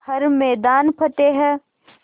हर मैदान फ़तेह